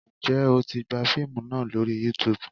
Ǹjẹ́ o tí gbà fíìmù náà lórí Youtube?